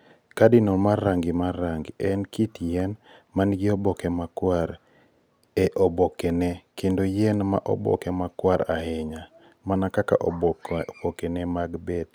KARDINAL MAR RANGI MAR RANGI - en kit yien ma nigi oboke makwar e obokene kendo yien ma oboke makwar ahinya (mana kaka obokene mag beet).